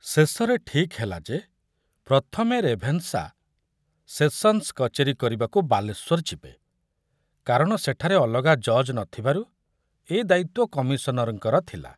ଶେଷରେ ଠିକ ହେଲା ଯେ ପ୍ରଥମେ ରେଭେନ୍ସା ସେସନ୍‌ସ୍ କଚେରୀ କରିବାକୁ ବାଲେଶ୍ୱର ଯିବେ, କାରଣ ସେଠାରେ ଅଲଗା ଜଜ୍ ନ ଥିବାରୁ ଏ ଦାୟିତ୍ୱ କମିଶନରଙ୍କର ଥିଲା।